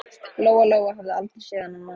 Lóa Lóa hafði aldrei séð þennan mann.